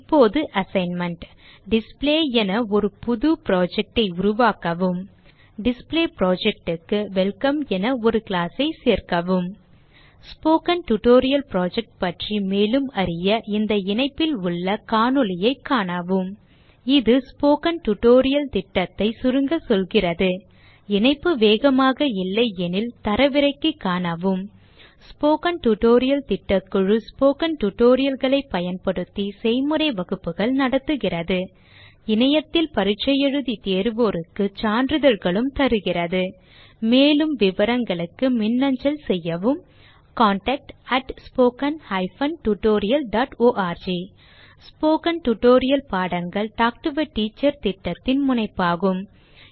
இப்போது assignment display என ஒரு புது project ஐ உருவாக்கவும் டிஸ்ப்ளே project க்கு வெல்கம் என ஒரு class ஐ சேர்க்கவும் ஸ்போக்கன் டியூட்டோரியல் புரொஜெக்ட் பற்றி மேலும் அறிய இந்த இணைப்பில் உள்ள காணொளியைக காணவும் இது ஸ்போக்கன் டியூட்டோரியல் திட்டத்தை சுருங்க சொல்கிறது இணைப்பு வேகமாக இல்லையெனில் தரவிறக்கி காணவும் ஸ்போக்கன் டியூட்டோரியல் திட்டக்குழு ஸ்போக்கன் tutorial களைப் பயன்படுத்தி செய்முறை வகுப்புகள் நடத்துகிறது இணையத்தில் தேர்வு எழுதி தேர்வோருக்கு சான்றிதழ்களும் அளிக்கிறது மேலும் விவரங்களுக்கு மின்னஞ்சல் செய்யவும் contactspoken tutorialorg ஸ்போகன் டுடோரியல் பாடங்கள் டாக் டு எ டீச்சர் திட்டத்தின் முனைப்பாகும்